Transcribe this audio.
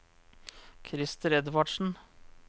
Krister Edvardsen